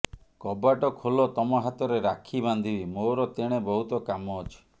କବାଟ ଖୋଲ ତମ ହାତରେ ରାକ୍ଷୀ ବାନ୍ଧିବି ମୋର ତେଣେ ବହୁତ କାମ ଅଛି